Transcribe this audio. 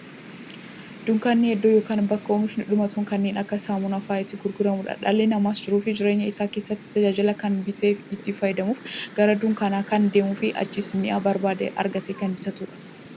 Dunkaanni iddoo yookiin bakka oomishni dhumatoon kanneen akka saamunaa faa'a itti gurguramuudha. Dhalli namaas jiruuf jireenya isaa keessatti, tajaajila kana bitee itti fayyadamuuf, gara dunkaanaa kan deemuufi achiis mi'a barbaade argatee kan bitatuudha.